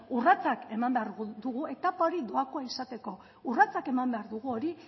urratsak eman behar dugu etapa hori doakoa izateko urratsak eman behar dugu hori